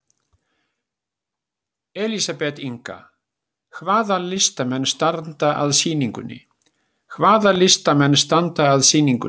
Elísabet Inga: Hvaða listamenn standa að sýningunni?